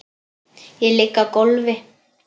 Ég ligg á gólfi.